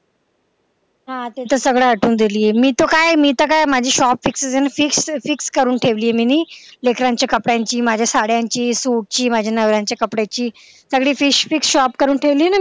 हा तू तर सगळं आठवण दिली मी तर काय माझी shop जी आहे ना ती fix करून ठेवलेय मिनी लेकऱ्यांच्या कपड्यांची माझ्या साड्यांची नव्या सुटची माझ्या नवर्याच्या कपड्याची सगळी fix fix shop करून ठेवलेय ना मी